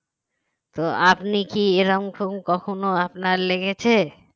তো আপনি কি এরকম কখন আপনার লেগেছে